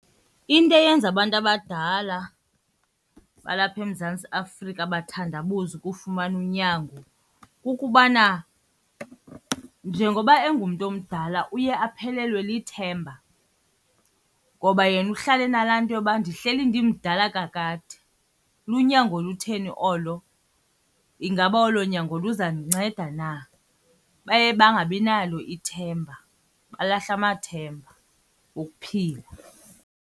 Into eyenza abantu abadala balapha eMzantsi Afrika bathandabuze ukufumana unyango kukubana njengoba engumntu omdala uye aphelelwe lithemba ngoba yena uhlala enalaa nto yoba ndihleli ndimdala kakade. Lunyango olutheni olo? Ingaba olo nyango luzandinceda na? Baye bangabi nalo ithemba, balahla amathemba okuphila.